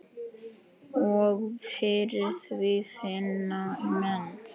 Og fyrir því finna menn.